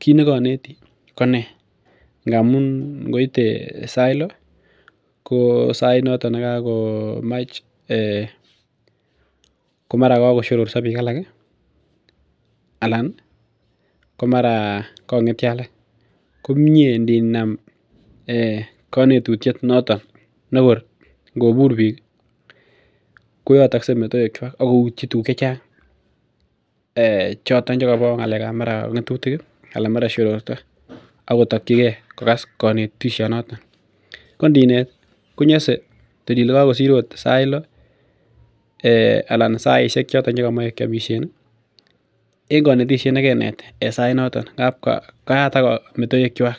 kit nekonetii konee ngamun ngoite sait lo ko sait noton nekakomach ko mara kakosyororso biik alak ih alan ko mara kongetyo alak komie ninam konetutiet noton nekor ngobur biik ko yotokse metoek kwak ak koutyi tuguk chechang choton chekobo ng'alek ab mara ng'etutik ana mara shororto akotokyigee kokas konetishonoton ko ndinet konyose tor ile kakosir ot sait lo anan saisiek choton chekomoe kiomisien ih en konetisiet nekenet en sait noton ngap kayatak metoek kwak